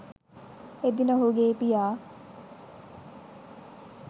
එදින ඔහුගේ පියා